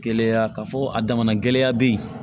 Gɛlɛya ka fɔ a damana gɛlɛya be yen